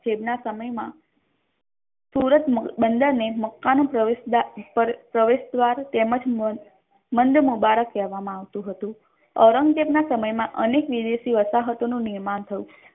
ઔરંગઝેબ ના સમય મા સુરત ને મકકા નો પ્રવેશ દ્વાર તેમજ મંદ મુબારક કેહવામા આવતુ હતુ ઔરંગઝેબ ના સમય મા અનેક નિવેશિ વસાહતો નુ નિર્માણ થયુ.